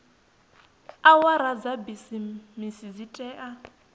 awara dza bisimisi dzi tea